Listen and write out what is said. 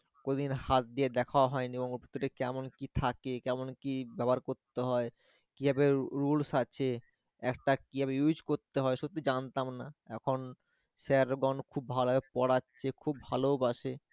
কোন দিন হাত দিয়ে দেখা হয়নি, ওর মধ্যে কেমন কি থাকে কেমন কি ব্যবহার করতে হয়? কিভাবে rules আছে? একটা কিভাবে use সত্যি জানতাম না এখন sir গন এবং খুব ভালো পড়াচ্ছে খুব ভালোবাসে